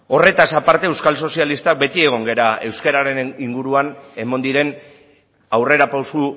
horretaz aparte euskal sozialistak beti egon gara euskararen inguruan eman diren aurrerapauso